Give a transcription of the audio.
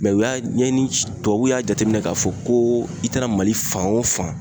u y'a ɲɛɲini tubabuw y'a jateminɛ ka fɔ ko i taara mali fan o fan